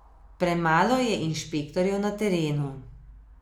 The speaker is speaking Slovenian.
Premalo je inšpektorjev na terenu.